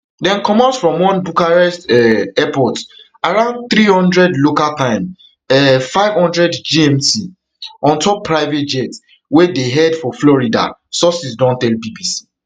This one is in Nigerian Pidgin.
dem comot from one bucharest um airport around three hundred local time um five hundred gmt ontop private jet wey dey head for florida sources don tell bbc